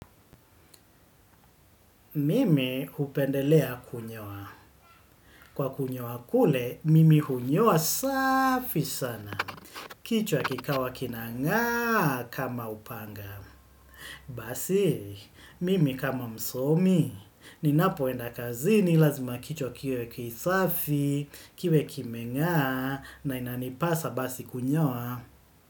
Mimi upendelea kunyawa. Kwa kunyoa kule, mimi hunyoa safi sana. Kichwa kikawa kinanga kama upanga. Basi, mimi kama msomi. Ninapoenda kazi ni lazima kichwa kiwe kisafi, kiwe kimenga na inanipasa basi kunyoa.